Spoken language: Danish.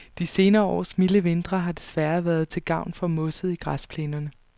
De senere års milde vintre har desværre været til gavn for mosset i græsplænerne.